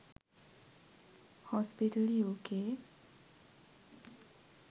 hospital uk